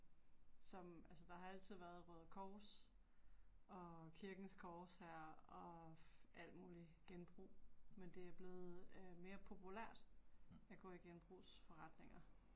Som altså der har altid været Røde Kors og Kirkens Korshær og alt mulig genbrug, men det er blevet øh mere populært at gå i genbrugsforretninger